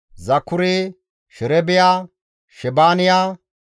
Zakure, Sherebiya, Shebaaniya,